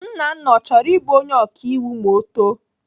Nnanna ọ chọrọ ịbụ onye ọkaiwu ma ọ too?